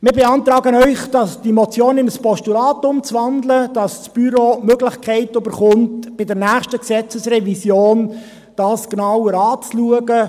Wir beantragen Ihnen, diese Motion in ein Postulat umzuwandeln, damit das Büro die Möglichkeit erhält, dies bei der nächsten Gesetzesrevision genauer anzuschauen.